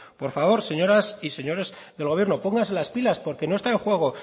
por favor señoras y señores del gobierno pónganse las pilas porque no está en juego